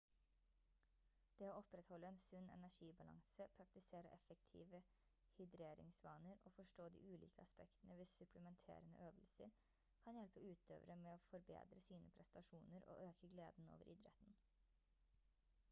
det å opprettholde en sunn energibalanse praktisere effektive hydreringsvaner og forstå de ulike aspektene ved supplementerende øvelser kan hjelpe utøvere med å forbedre sine prestasjoner og øke gleden over idretten